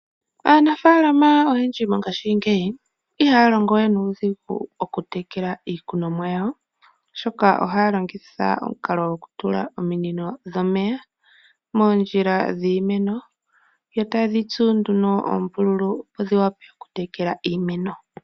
Aanafaalama oyendji mongashingeyi iha ya longowe nuudhigu oku tekela iikunomwa yawo, oshoka oha ya longitha omukalo gwokutula ominino dhomeya moondjila dhiimeno, yo ta ye dhi tsu nduno oombululu opo dhi wa pe oku tekela iimeno.